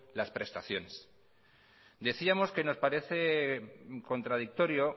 las prestaciones decíamos que nos parece contradictorio